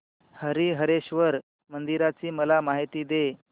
हरीहरेश्वर मंदिराची मला माहिती दे